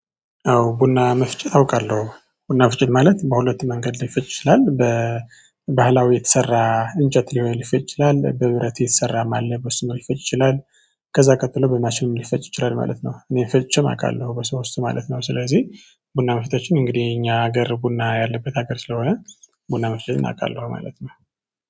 አዎ ቡና መፍጨት አውቃለሁ ቡና መፍጨት ማለት በሁለት መንገድ ሊፈጭ ይችላል በባህላዊ የተሰራ እንጨት ሊሆ ሊፈጭ ይችላል በብረት የተሰራም አለ በሱ ሊፈጭ ይችላል። ከዛ ቀጥሎ በማሽንም ሊፈጭ ይችላል ማለት ነው። እኔ ፈጭቼም አውቃለሁ በዛ ውስጥ ማለት ነው። ስለዚህ ቡና መፍጫችን እንግዲህ እኛ ሀገር ቡና ያለበት ሀገር ስለሆነ ቡና መፍጨትን አውቃለሁ። ማለት ነው